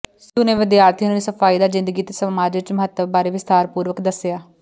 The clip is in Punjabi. ਸਿੱਧੂ ਨੇ ਵਿਦਿਆਰਥੀਆਂ ਨੂੰ ਸਫਾਈ ਦਾ ਜਿੰਦਗੀ ਤੇ ਸਮਾਜ ਵਿੱਚ ਮਹੱਤਵ ਬਾਰੇ ਵਿਸਥਾਰਪੂਰਵਕ ਦੱਸਿਆ